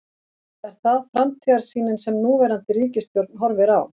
Er það framtíðarsýnin sem núverandi ríkisstjórn horfir á?